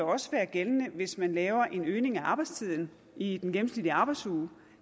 også være gældende hvis man laver en øgning af arbejdstiden i den gennemsnitlige arbejdsuge